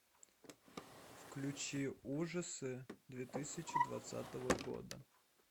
включи ужасы две тысячи двадцатого года